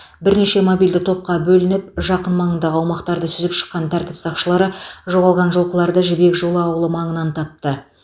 бірнеше мобильді топқа бөлініп жақын маңындағы аумақтарды сүзіп шыққан тәртіп сақшылары жоғалған жылқыларды жібек жолы ауылы маңыннан тапты